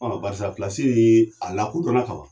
Fɔlɔ barisa filalasi ni a lakodon na ka ba